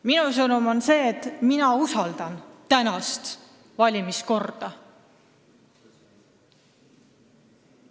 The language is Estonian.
Minu sõnum on see, et mina usaldan tänast valimiskorda.